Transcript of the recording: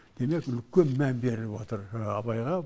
демек үлкен мән беріліп отыр абайға